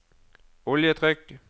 oljetrykk